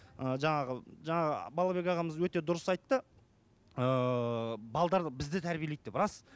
і жаңағы жаңа балабек ағамыз өте дұрыс айтты ыыы бізді тәрбиелейді деп рас